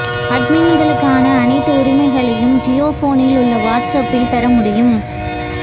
அட்மின்களுக்கான அனைத்து உரிமைகளையும் ஜியோபோனில் உள்ள வாட்ஸ் அப்பில் பெற முடியும்